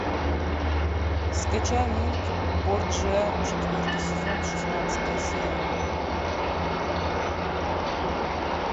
скачай мульт борджиа четвертый сезон шестнадцатая серия